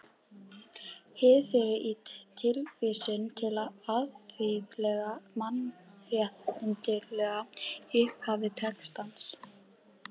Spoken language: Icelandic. Hið fyrra er tilvísunin til alþjóðlegra mannréttindalaga í upphafi textans.